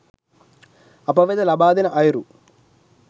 අප වෙත ලබාදෙන අයුරු